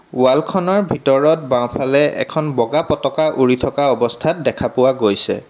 Wall খনৰ ভিতৰত বাওঁফালে এখন বগা পতকা উৰি থকা অৱস্থাত দেখা পোৱা গৈছে।